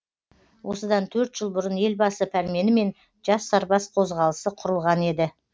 осыдан төрт жыл бұрын елбасы пәрменімен жас сарбаз қозғалысы құрылған еді